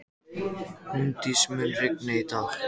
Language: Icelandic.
Húndís, mun rigna í dag?